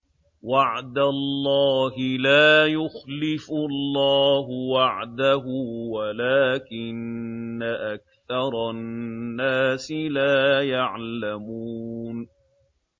وَعْدَ اللَّهِ ۖ لَا يُخْلِفُ اللَّهُ وَعْدَهُ وَلَٰكِنَّ أَكْثَرَ النَّاسِ لَا يَعْلَمُونَ